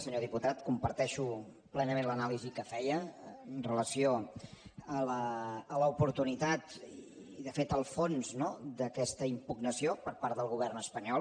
senyor diputat comparteixo plenament l’anàlisi que feia amb relació a l’oportunitat i de fet al fons d’aquesta impugnació per part del govern espanyol